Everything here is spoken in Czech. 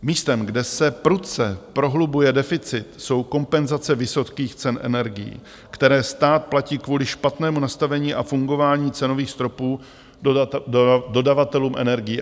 Místem, kde se prudce prohlubuje deficit, jsou kompenzace vysokých cen energií, které stát platí kvůli špatnému nastavení a fungování cenových stropů dodavatelům energií.